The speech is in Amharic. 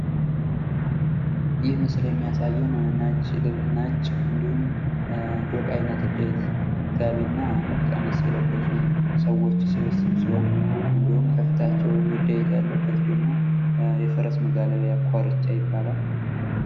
ይህ ምስል የሚያሳየን ነጭ እንድሁም ዶቃ አይነት እዳይት ጋቢና ቀሚስ የለበሱ ሰዎች ስብስብ ሲሆን እንድሁም ከፊታቸው እዳይት ያለበት ደግሞ የፈረስ መጋለቢያ ኳርቻ ይባላል።